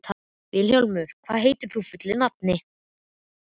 Vilhjálmur, hvað heitir þú fullu nafni?